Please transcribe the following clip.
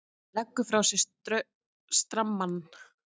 Leggur frá sér strammann.